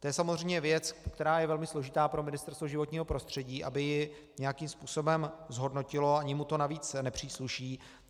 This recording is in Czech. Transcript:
To je samozřejmě věc, která je velmi složitá pro Ministerstvo životního prostředí, aby ji nějakým způsobem zhodnotilo, ani mu to navíc nepřísluší.